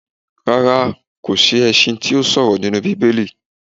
Rárá kò sí ẹṣin tí ó ṣọ̀rọ̀ nínú Bíbélì.